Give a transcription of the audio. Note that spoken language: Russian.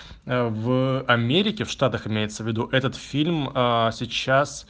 а в америке в штатах имеется в виду этот фильм ээ сейчас